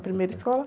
Primeira escola?